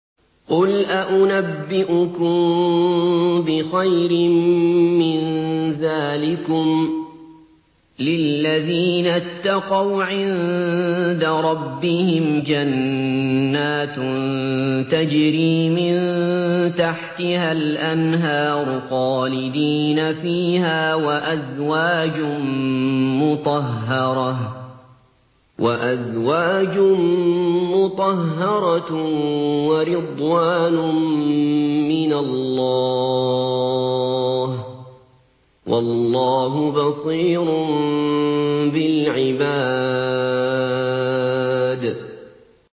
۞ قُلْ أَؤُنَبِّئُكُم بِخَيْرٍ مِّن ذَٰلِكُمْ ۚ لِلَّذِينَ اتَّقَوْا عِندَ رَبِّهِمْ جَنَّاتٌ تَجْرِي مِن تَحْتِهَا الْأَنْهَارُ خَالِدِينَ فِيهَا وَأَزْوَاجٌ مُّطَهَّرَةٌ وَرِضْوَانٌ مِّنَ اللَّهِ ۗ وَاللَّهُ بَصِيرٌ بِالْعِبَادِ